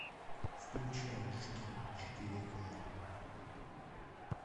включай жги четыре ка